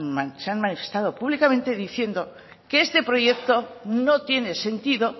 han manifestado públicamente diciendo que este proyecto no tiene sentido